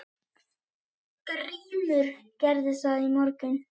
GRÍMUR: Gerði það í morgun!